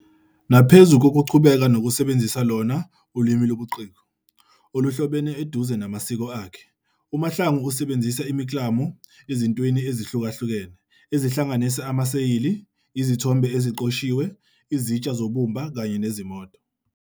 Naphezu kokuqhubeka nokusebenzisa lona "ulimi lobuciko" oluhlobene eduze namasiko akhe, uMahlangu usebenzise imiklamo ezintweni ezihlukahlukene ezihlanganisa amaseyili, izithombe eziqoshiwe, izitsha zobumba kanye nezimoto.